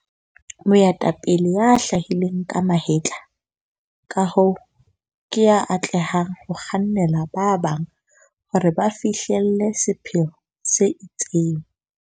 Moetapele ya hlahileng ka mahetla, ka hoo, ke ya atlehang ho kgannela ba bang hore ba fihlelle sepheo se itseng.